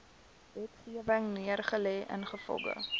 wetgewing neergelê ingevolge